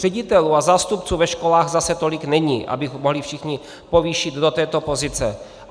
Ředitelů a zástupců ve školách zase tolik není, aby mohli všichni povýšit do této pozice.